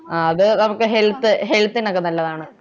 ആഹ് നമ്മക്ക് നമക്ക് helath health നോക്കെ നല്ലതാണു